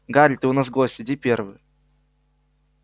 гарри ты у нас гость иди первый